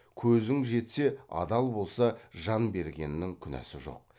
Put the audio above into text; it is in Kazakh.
көзің жетсе адал болса жан бергеннің күнәсі жоқ